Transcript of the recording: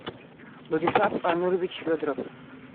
владислав анурович федоров